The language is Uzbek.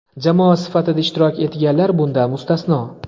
jamoa sifatida ishtirok etganlar bundan mustasno).